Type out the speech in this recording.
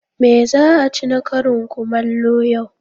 Me za a ci na karin kumallo yau?